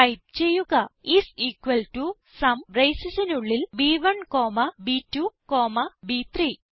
type ചെയ്യുക is equal to sum bracesനുള്ളിൽ ബ്1 കോമ ബ്2 കോമ ബ്3